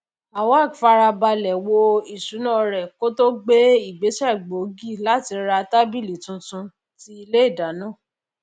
awak farabalẹ wo ìṣúná rẹ kó tó gbé ìgbésẹ gbòógì láti ra tábìlì tuntun ti ilé ìdáná